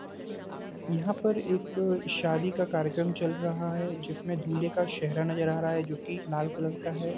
यहाँ पर एक शादी का कार्यक्रम चल रहा है जिसमें दूल्हे का सेहरा नजर आ रहा है जो की लाल कलर का है।